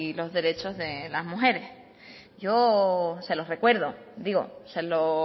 los derechos de las mujeres yo se lo recuerdo digo se lo